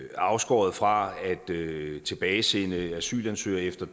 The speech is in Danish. afskåret fra at tilbagesende asylansøgere efter